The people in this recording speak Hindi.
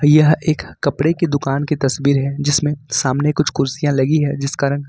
यह एक कपड़े की दुकान की तस्वीर है जिसमें सामने कुछ कुर्सियां लगी है जिस का रंग--